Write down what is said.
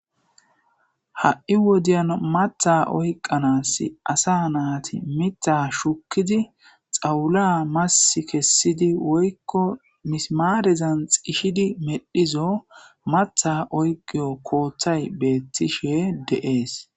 ha7i wodiyan matha oyqanaas asa naati mita shukidi xawula mas kessidi woykko mismaarezan xishidi medhizo matha oygiyo kooththay beettishe deees